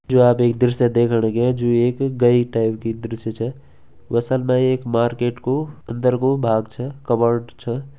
जो आप एक दृश्य देखण लग्यां जू एक टाइप की दृश्य छा व असल मा एक मार्केट कू अंदर कू भाग छा कबर्ड छा।